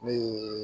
Ne ye